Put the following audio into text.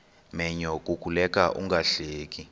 menyo kukuleka ungahleki